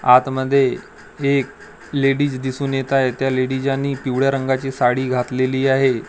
आत मध्ये एक लेडीज दिसून येत आहे त्या लेडीज यांनी पिवळ्या रंगाची साडी घातलेली आहे.